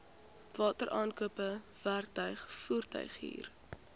wateraankope werktuig voertuighuur